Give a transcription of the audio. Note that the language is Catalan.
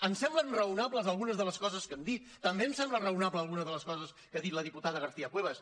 em semblen raonables algunes de les coses que han dit també em semblen raonable alguna de les coses que ha dit la diputada garcia cuevas